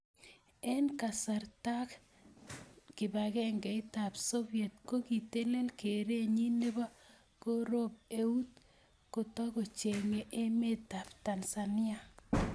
Eng kasaratak, kibagengeitab Soviet kokitelele kereenyi nebo koroop eut kotokchinigei Emetab Tanzania.